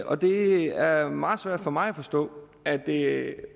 og det er meget svært for mig at forstå at det